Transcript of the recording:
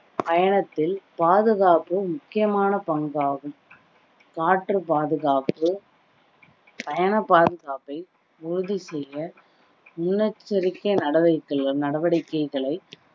பயணத்தில் பாதுகாப்பு முக்கியமான பங்காகும் காற்று பாதுகாப்பு பயண பாதுகாப்பை உறுதி செய்ய முன்னெச்சரிக்கை நடவக்கை~ நடவடிக்கைகளை